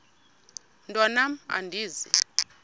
mntwan am andizi